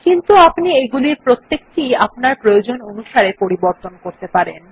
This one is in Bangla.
কিন্তু আপনি এগুলির প্রত্যেকটি ই আপনার প্রয়োজন অনুসারে পরিবর্তন করতে পারেন